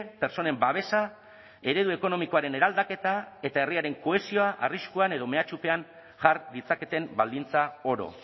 pertsonen babesa eredu ekonomikoaren eraldaketa eta herriaren kohesioa arriskuan edo mehatxupean jar ditzaketen baldintza oro